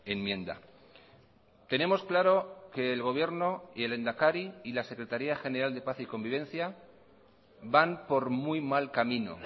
enmienda tenemos claro que el gobierno y el lehendakari y la secretaría general de paz y convivencia van por muy mal camino